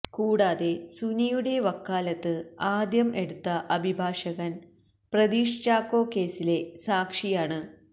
കൂടാതെ സുനിയുടെ വക്കാലത്ത് ആദ്യം എടുത്ത അഭിഭാഷകന് പ്രതീഷ് ചാക്കോ കേസിലെ സാക്ഷിയാണ്